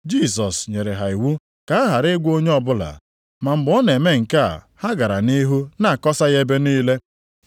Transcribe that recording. Jisọs nyere ha iwu ka ha ghara ịgwa onye ọbụla, ma mgbe ọ na-eme nke a ha gara nʼihu na-akọsa ya ebe niile.